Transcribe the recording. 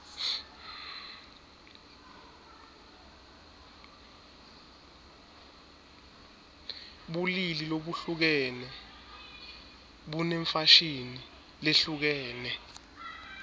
bulili labuhlukene bunemfashini lehlukene